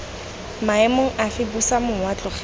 maemong afe busa mowa tlogela